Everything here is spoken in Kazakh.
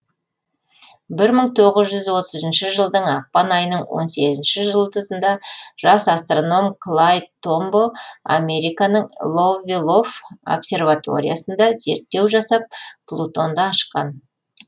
бір мың тоғыз жүз отызыншы жылдың ақпан айының он сегізінші жұлдызында жас астроном клайд томбо американың ловвелов обсерваториясында зерттеу жасап плутонды ашқан